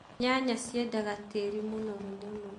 nyanya ciendaga tĩĩri mũnoru mũno .